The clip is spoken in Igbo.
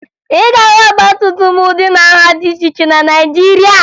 Ị ga-ahụ ọgbatumtum ụdị na nha dị iche iche na Naịjirịa